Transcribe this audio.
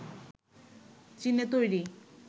চীনে তৈরি